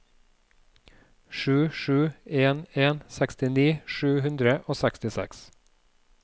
sju sju en en sekstini sju hundre og sekstiseks